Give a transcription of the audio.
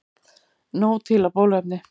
Nóg til af bóluefni